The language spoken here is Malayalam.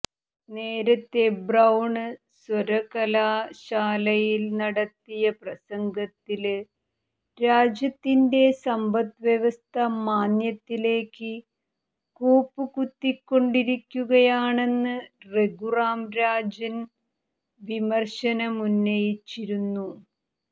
നേരത്തെ ബ്രൌണ് സര്വകലാശാലയില് നടത്തിയ പ്രസംഗത്തില് രാജ്യത്തിന്റെ സമ്പദ് വ്യവസ്ഥ മാന്ദ്യത്തിലേക്ക് കൂപ്പുകുത്തിക്കൊണ്ടിരിക്കുകയാണെന്ന് രഘുറാം രാജന് വിമര്ശനമുന്നയിച്ചിരുന്നു